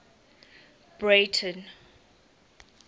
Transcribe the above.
breyten